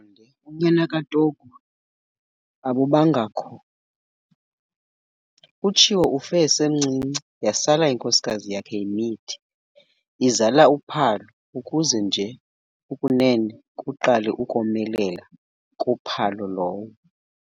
unyana kaTogu abubangakho. UTshiwo ufe esemncinane yasala inkosikazi yakhe imithi, izala uPhalo ukuze nje ukunene kuqale ukomelela kuPhalo lowo.